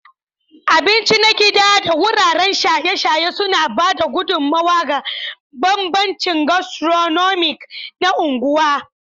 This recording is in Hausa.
Taimaka wuraren cin abinci na gida da wuraren shaye-shaye suna ba da gudummawa ga bambancin gastronomic na unguwa.